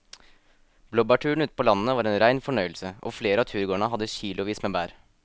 Blåbærturen ute på landet var en rein fornøyelse og flere av turgåerene hadde kilosvis med bær.